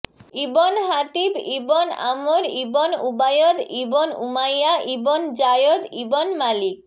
ibn Hatib ibn Amr ibn Ubayd ibn Umayya ibn Zayd ibn Malik